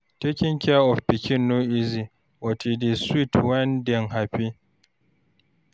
Taking care of pikin no easy, but e dey sweet when dem happy.